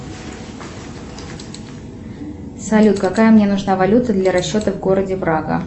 салют какая мне нужна валюта для расчета в городе прага